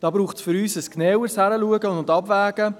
Für uns braucht es hier ein genaueres Hinsehen und Abwägen.